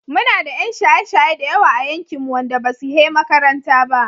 Muna da 'yan shaye-shaye da yawa a yankinmu wanda basu he makaranta ba.